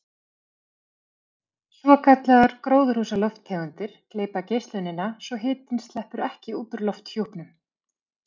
Svokallaðar gróðurhúsalofttegundir gleypa geislunina svo hitinn sleppur ekki út úr lofthjúpnum.